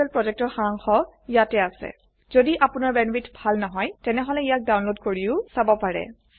কথন শিক্ষণ প্ৰকল্পৰ সাৰাংশ ইয়াত আছে যদি আপোনাৰ বেণ্ডৱিডথ ভাল নহয় তেনেহলে ইয়াক ডাউনলোড কৰি চাব পাৰে